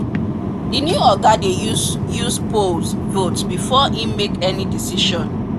the new oga dey use use polls vote before he make any decision